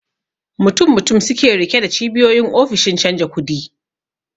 Mutum mutum suke rike da cibiyoyin ofishin canja kudi